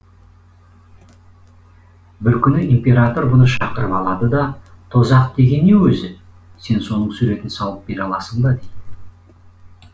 бір күні император бұны шақырып алады да тозақ деген не өзі сен соның суретін салып бере аласың ба дейді